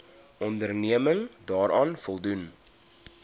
onderneming daaraan voldoen